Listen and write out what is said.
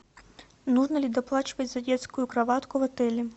нужно ли доплачивать за детскую кроватку в отеле